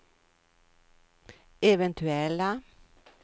eventuella